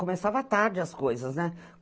Começava tarde as coisas, né?